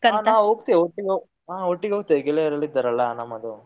ನಾವು ಹೋಗ್ತೇವೆ ಒಟ್ಟಿಗೆ ಹೊ~ ಹಾ ಒಟ್ಟಿಗೆ ಹೋಗ್ತೇವೆ ಗೆಳೆಯರೆಲ್ಲ ಇದ್ದರಲ್ಲ ನಮ್ಮದು.